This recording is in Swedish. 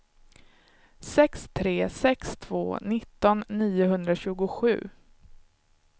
sex tre sex två nitton niohundratjugosju